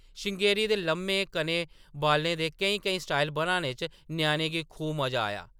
श्रृंगेरी दे लम्मे, घने बालें दे केईं-केईं स्टाइल बनाने च ञ्याणें गी खूब मजा आया ।